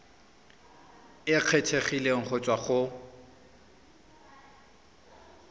e kgethegileng go tswa go